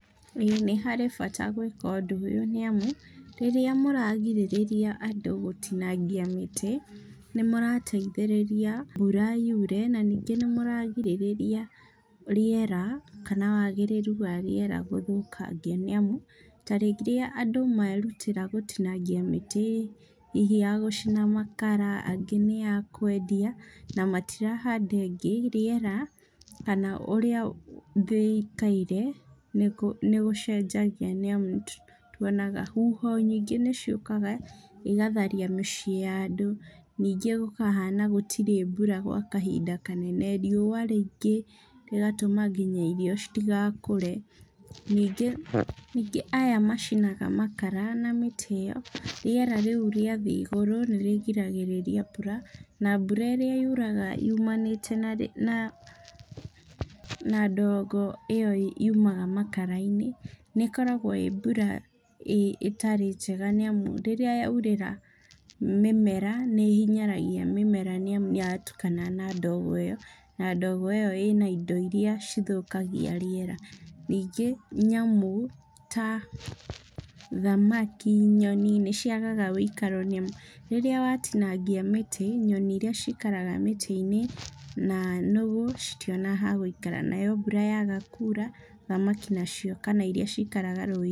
Ĩĩ ni harĩ bata gwĩka ũndũ ũyũ nĩ amu, rĩrĩa mũragirĩrĩria andũ gũtinangia mĩtĩ, nĩ mũrateithĩrĩria mbura yure, na ningĩ nĩ mũragirĩrĩria rĩera, kana wagĩrĩru warĩera gũthũkangio. Ni amu, ta rĩrĩa andũ merutĩra gũtinangia mĩtĩ hihi ya gũcina makara, angĩ nĩ ya kwedia, na matirahanda ĩngĩ riera, kana ũrĩa thĩ ĩikaire nĩ gũcenjagia nĩ amu nĩ tuonaga, huho nyingĩ ciũkaga cigatharia mĩciĩ ya andũ. Ningĩ gũkahana gũtirĩ mbura gwa kahinda kanene, riua rĩingĩ rĩgatũma nginya irio citigakũre. Ningĩ aya macinaga makara na mĩtĩ ĩyo ,rĩera riu rĩathiĩ igũrũ nĩ rĩgiragĩrĩria mbura, na mbura ĩrĩa yuraga yumanĩte na ndogo ĩyo yumaga makarainĩ, nĩ ĩkoragwo ĩ mbura ĩtarĩ njega, nĩ amu rĩrĩa yaurĩra mĩmera nĩ ĩhinyaragia mĩmera nĩ amu nĩ yatukana na ndogo ĩyo ,na ndogo ĩyo ĩrĩ na indo iria cithukagia rĩera. Ningĩ nyamũ ta thamaki, nyoni nĩ ciagaga ũikaro rĩrĩa watinangia mĩtĩ, nyoni iria cikaraga mĩtĩi-inĩ na nũgũ citionaga ha gũikara. Nayo mbura yaga kura thamaki nacio kana iria cikaraga rũinĩ.